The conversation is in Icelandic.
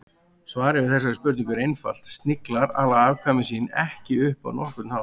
Svarið við þessari spurningu er einfalt: Sniglar ala afkvæmi sín ekki upp á nokkurn hátt.